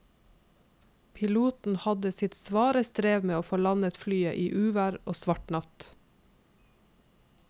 Piloten hadde sitt svare strev med å få landet flyet i uvær og svart natt.